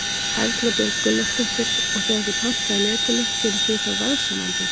Erla Björg Gunnarsdóttir: Og þegar þið pantið á Netinu, gerið þið þá verðsamanburð?